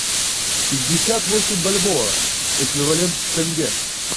пятьдесят восемь бальбоа эквивалент в тенге